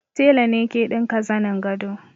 Tela ne ke ɗinka zanin gado